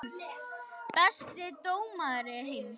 Besti dómari heims?